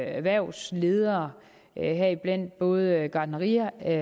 erhvervsledere heriblandt både gartneriejere